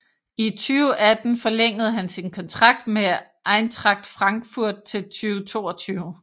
I 2018 forlængede han sin kontrakt med Eintracht Frankfurt til 2022